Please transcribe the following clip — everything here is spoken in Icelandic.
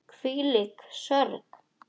Hvílík sorg.